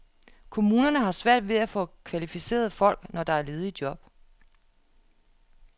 Kommunerne har svært ved at få kvalificerede folk, når der er ledige job.